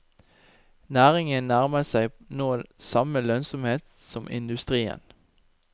Næringen nærmer seg nå samme lønnsomhet som industrien.